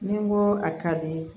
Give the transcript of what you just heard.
Ni n ko a ka di